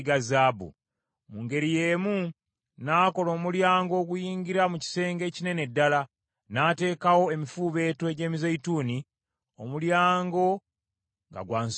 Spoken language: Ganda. Mu ngeri y’emu n’akola omulyango oguyingira mu kisenge ekinene ddala, n’ateekawo emifuubeeto egy’emizeeyituuni, omulyango nga gwa nsonda nnya.